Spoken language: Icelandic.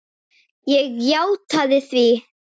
Ég játaði því.